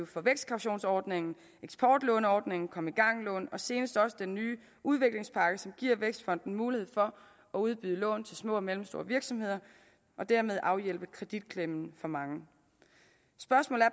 for vækstkautionsordningen eksportlåneordningen kom i gang lån og senest også den nye udviklingspakke som giver vækstfonden mulighed for at udbyde lån til små og mellemstore virksomheder og dermed afhjælpe kreditklemmen for mange spørgsmålet